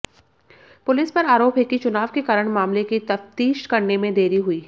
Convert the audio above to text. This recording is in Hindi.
पुलिस पर आरोप है कि चुनाव के कारण मामले की तफ्तीश करने में देरी हुई